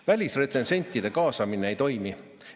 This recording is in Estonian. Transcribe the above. Välisretsensentide kaasamine ei toimi.